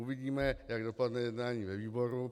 Uvidíme, jak dopadne jednání ve výboru.